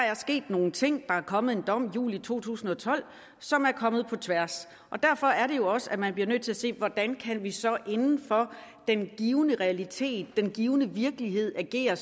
er sket nogle ting der er kommet en dom i juli to tusind og tolv som er kommet på tværs og derfor er det jo også at man bliver nødt til at se på hvordan vi så inden for den givne realitet den givne virkelighed kan agere